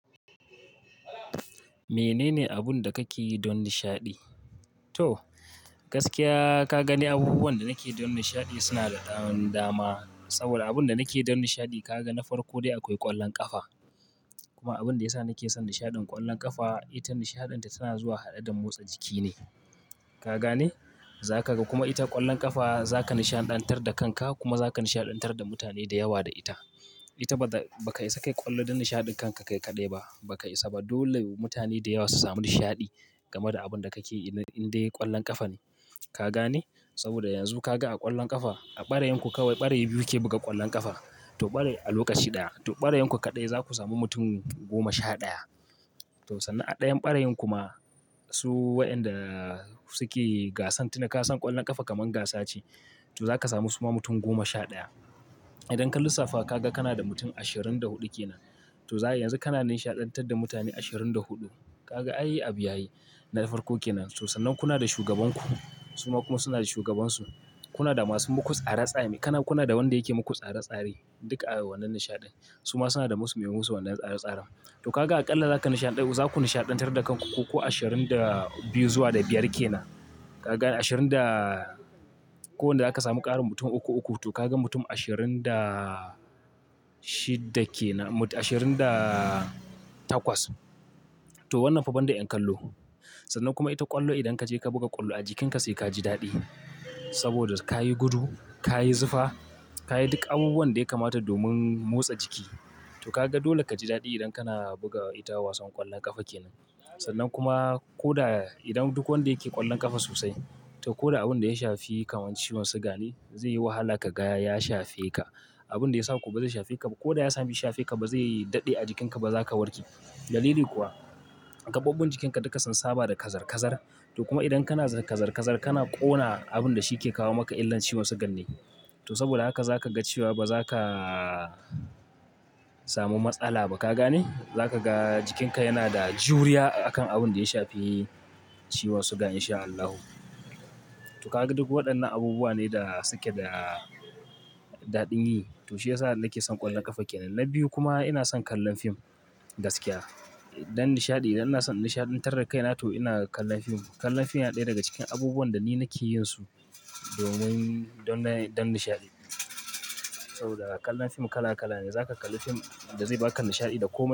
Menene abun da kake yi don nishaɗi? To gaskiya ka gane abubuwan da nake yi don nishaɗi suna da ɗan dama. Saboda abun da nake yi don nishaɗi ka ga na farko dai akwai ƙwallon ƙafa. Kuma abin da ya sa nake son nishaɗin ƙwallon ƙafa ita nishaɗin ta tana zuwa haɗe da motsa jiki ne. Ka gane? Za ka ga kuma ita ƙwallon ƙafa za ka nishaɗantar da kanka kuma za ka nishaɗantar da mutane da yawa da ita. Ita ba ka isa ka yi ƙwallo don nishaɗin kanka kai kaɗai ba, ba ka isa ba. Dole mutane da yawa su sami nishaɗi game da abin da kake yi inde ƙwallon ƙafa ne. Ka gane? Saboda yanzu ka ga a ƙwallon ƙafa a ɓarayin ku kawai ɓarayi biyu ke buga ƙwallon ƙafa. To ɓarayi a lokaci ɗaya, to ɓarayin ku kaɗai za ku sami mutum goma sha ɗaya. To sannan a ɗayan ɓarayin kuma su waƴanda suke gasan tuna ka san ƙwallon ƙafa kamar gasa ce. To za ka samu suma mutum goma sha ɗaya. Idan ka lissafa ka ga kana da mutum ashirin da huɗu ke nan. To za yanzu kana nishaɗantar da mutane ashirin da huɗu. Ka ga, "Ai, abi yayi." Na farko ke nan. To sannan kuna da shugaban ku suma kuma suna da shugabansu. Kuna da masu muku tsare tsame. Kana kuna da wanda yake muku tsare tsare. Duka a wannan nishaɗin. Suma suna da musu me musu wannan tsare tsaren. To ka ga aƙalla za ku nishaɗantar da kanku ku ashirin da biyu zuwa da biyar ke nan. Ka ga ashirin da ko wanda aka samu ƙarin mutum uku uku. To ka ga mutum ashirin da shidda ke nan, ashirin da takwas. To wannan fa ban da ƴan kallo. Sannan kuma ita ƙwallo idan ka je ka buga ƙwallo a jikinka sai ka ji daɗi. Saboda ka yi gudu, ka yi zufa, ka yi duk abubuwan da yakamata domin motsa jiki. To ka ga dole ka ji daɗi idan kana buga ita wasan ƙwallon ƙafa ke nan. Sannan kuma ko da idan duk wanda yake ƙwallon ƙafa sosai, to ko da abin da ya shafi kamar ciwon suga ne, zai yi wahala ka gaya ya shafe ka. Abin da ya sa kuwa ba zai shafe ka ba ko da ya sami shafe ka ba zai daɗe a jikinka ba za ka warke. Dalili kuwa, gaɓoɓɓun jikinka duka sun saba da kazar-kazar. To kuma idan kana kazar-kazar kana ƙona abin da shi yake kawo maka illar ciwon sugan ne. To saboda haka za ka ga cewa ba za ka samu matsala ba. Ka gane? Za ka ga jikinka yana da juriya a kan abin da ya shafe ciwon sugan in sha Allahu. To ka ga duk waɗannan abubuwa ne da suke da daɗin yi. To shi ya sa nake son ƙwallon ƙafa ke nan. Na biyu kuma ina son kallon fim gaskiya. Don nishaɗi idan ina son nishaɗantar da kaina to ina kallon fim. Kallon fim yana ɗaya daga cikin abubuwan da ni nake yin su domin don nishaɗi. Saboda kallon fim kala kala ne. Za ka kalli fim da zai ba ka nishaɗi da komai.